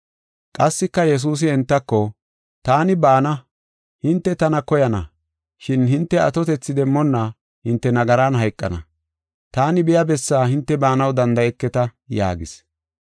Qassika Yesuusi entako, “Taani baana; hinte tana koyana, shin hinte atotethi demmonna hinte nagaran hayqana. Taani biya bessaa hinte baanaw danda7eketa” yaagis.